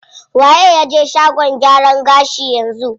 Waye ya je shagon gyaran gashi yanzu?